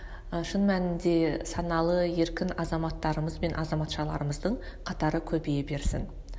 ы шын мәнінде саналы еркін азаматтарымыз бен азаматшаларымыздың қатары көбейе берсін